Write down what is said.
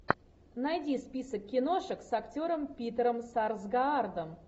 найди список киношек с актером питером сарсгаардом